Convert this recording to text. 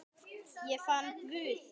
Ég fann Guð.